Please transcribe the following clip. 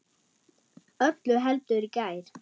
Öllu heldur í gær.